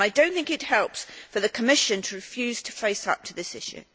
I do not think it helps for the Commission to refuse to face up to this issue.